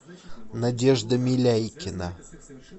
надежда миляйкина